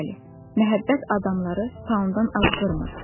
Bəli, məhəbbət adamları taondan az qırmır.